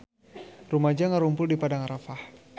Rumaja ngarumpul di Padang Arafah